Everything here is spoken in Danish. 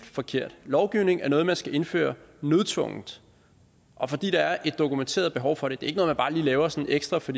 forkert lovgivning er noget man skal indføre nødtvungent og fordi der er et dokumenteret behov for det det er ikke noget man bare lige laver sådan ekstra for